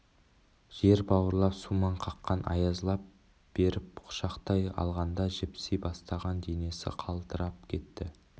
жер бауырлап сумаң қаққан аяз лап беріп құшақтай алғанда жіпси бастаған денесі қалтырап кетті